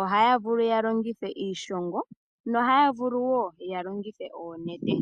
ohaya vulu yalongithe iishongo no haya vulu woo yalongithe oonete.